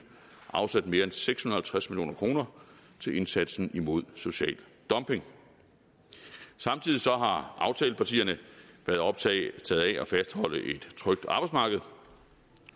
afsat mere end seks hundrede og halvtreds million kroner til indsatsen imod social dumping samtidig har aftalepartierne været optaget af at fastholde et trygt arbejdsmarked